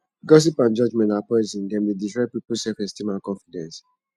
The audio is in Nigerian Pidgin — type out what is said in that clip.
gossip and judgment na poison dem dey destroy peoples selfesteem and confidence